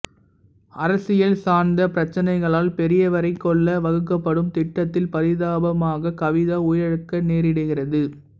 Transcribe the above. அரசியல் சார்ந்த பிரச்சனைகளால் பெரியவரை கொல்ல வகுக்கப்படும் திட்டத்தில் பரிதாபமாக கவிதா உயிரிழக்க நேரிடுகிறது